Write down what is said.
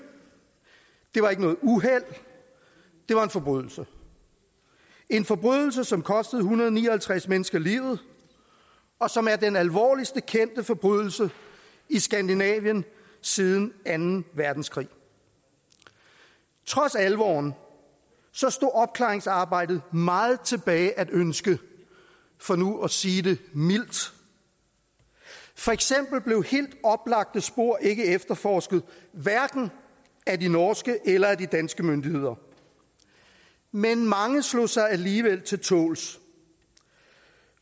det var ikke noget uheld det var en forbrydelse en forbrydelse som kostede en hundrede og ni og halvtreds mennesker livet og som er den alvorligste kendte forbrydelse i skandinavien siden anden verdenskrig trods alvoren stod opklaringsarbejdet meget tilbage at ønske for nu at sige det mildt for eksempel blev helt oplagte spor ikke efterforsket hverken af de norske eller af de danske myndigheder men mange slog sig alligevel til tåls